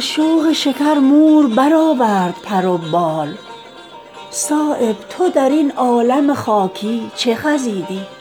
از شوق شکر مور برآورد پر و بال صایب تو درین عالم خاکی چه خزیدی